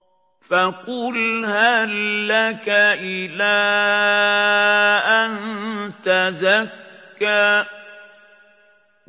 فَقُلْ هَل لَّكَ إِلَىٰ أَن تَزَكَّىٰ